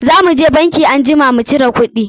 Za mu je banki anjima mu cira kuɗi.